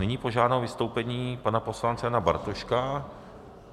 Nyní požádám o vystoupení pana poslance Jana Bartoška.